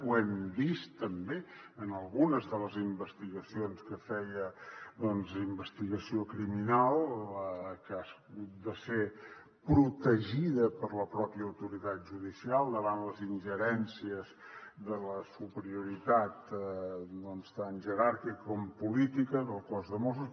ho hem vist també en algunes de les investigacions que feia investigació criminal que ha hagut de ser protegida per la pròpia autoritat judicial davant les ingerències de la superioritat tant jeràrquica com política del cos de mossos